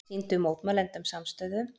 Sýndu mótmælendum samstöðu